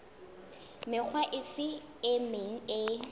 mekga efe e meng e